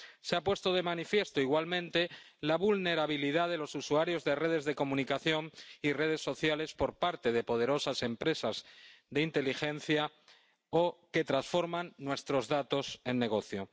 Se ha puesto de manifiesto, igualmente, la vulnerabilidad de los usuarios de redes de comunicación y redes sociales por parte de poderosas empresas de inteligencia o que transforman nuestros datos en negocio.